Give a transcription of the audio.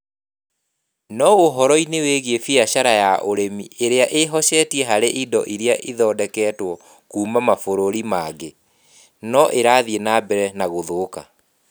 No ũhoro-inĩ wĩgiĩ biacara ya ũrĩmi ĩrĩa ĩhocetie harĩ indo iria ithondeketwo kuuma mabũrũri mangĩ, no ĩrathiĩ na mbere na gũthũka